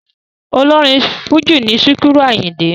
Ọlọ́rin Fújì in Síkírù Àyìndé.